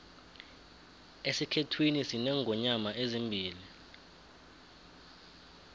esikhethwini sinengonyoma ezimbili